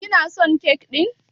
Kina son kek ɗin?